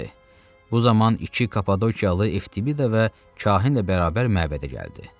Bu zaman iki Kapadokiyalı Eftibida və Kahinlə bərabər məbədə gəldi.